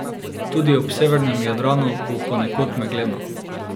Tudi ob severnem Jadranu bo ponekod megleno.